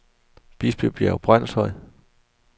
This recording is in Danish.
Bispebjerg Brønshøj